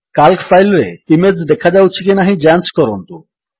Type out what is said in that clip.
Calc file ରେ image ଦେଖାଯାଉଛି କି ନାହିଁ ଯାଞ୍ଚ କରନ୍ତୁ